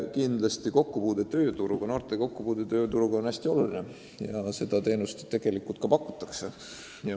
Kindlasti on noorte kokkupuude tööga hästi oluline ja seda teenust ka pakutakse.